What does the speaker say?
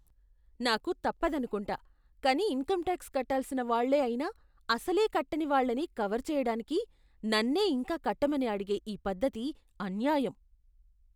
నాకు తప్పదనుకుంటా, కానీ ఇన్కమ్ టాక్స్ కట్టాల్సిన వాళ్ళే అయినా, అసలే కట్టని వాళ్ళని కవర్ చేయడానికి నన్నే ఇంకా కట్టమని అడిగే ఈ పద్ధతి అన్యాయం.